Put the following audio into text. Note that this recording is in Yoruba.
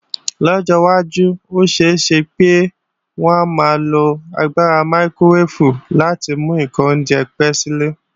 Lọ́jọ́ wájú, ó ṣeé ṣe pé wọn ó maa lo agbára mákíróweèfù láti mú kí oúnjẹ pé si.